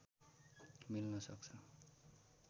मिल्न सक्छ